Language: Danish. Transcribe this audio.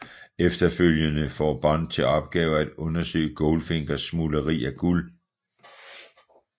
Efterfølgende får Bond til opgave at undersøge Goldfingers smugleri af guld